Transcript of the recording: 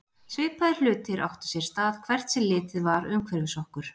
Svipaðir hlutir áttu sér stað hvert sem litið var umhverfis okkur.